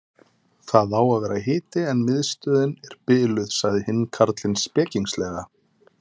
Það á að vera hiti en miðstöðin er biluð sagði hinn karlinn spekingslega.